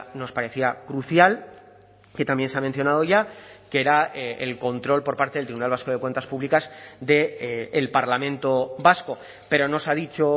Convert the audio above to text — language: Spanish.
nos parecía crucial que también se ha mencionado ya que era el control por parte del tribunal vasco de cuentas públicas del parlamento vasco pero no se ha dicho